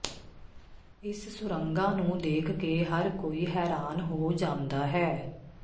ਇਸ ਸੁਰੰਗਾਂ ਨੂੰ ਦੇਖ ਕੇ ਹਰ ਕੋਈ ਹੈਰਾਨ ਹੋ ਜਾਂਦਾ ਹੈ